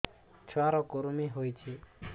ଛୁଆ ର କୁରୁମି ହୋଇଛି